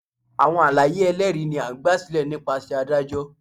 Awọn alaye ẹlẹri ni a gbasilẹ nipasẹ adajọ.